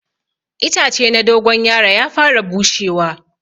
Itace na dogon yaro ya fara bushewa.